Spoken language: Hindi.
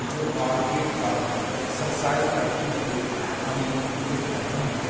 जो कार्पेट पर एक्सरसाइज करते हुए हमें दिख रहें हैं।